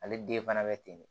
Ale den fana bɛ ten de